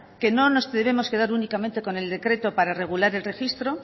que no nos debemos quedar únicamente con el decreto para regular el registro